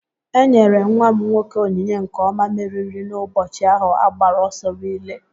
E nyere nwa m nwoke ònyìnyé nke onye mmeri n'ụbọchị ahu a gbara ọsọ rilee